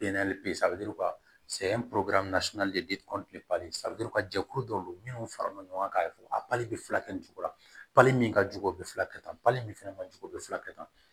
a bɛ ka jɛkulu dɔ don minnu farala ɲɔgɔn kan ka fɔ a bali bɛ fulakɛ nin cogo la pali min ka jugu o bɛ filakɛ tan pali min fana ma jogo bɛ fura kɛ tan